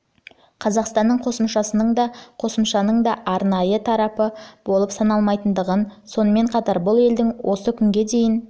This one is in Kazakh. қазақстанның қосымшасының да қосымшасының да арнайы тарапы болып саналмайтындығын сонымен қатар бұл елдің осы күнге дейін